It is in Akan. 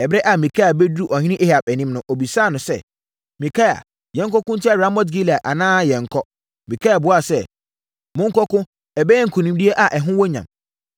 Ɛberɛ a Mikaia bɛduruu ɔhene Ahab anim no, ɔbisaa no sɛ, “Mikaia, yɛnkɔko ntia Ramot-Gilead anaa yɛnnkɔ?” Mikaia buaa sɛ, “Monkɔko! Ɛbɛyɛ nkonimdie a ɛho wɔ nyam.”